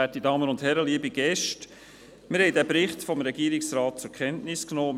Wir haben den Bericht des Regierungsrates zur Kenntnis genommen.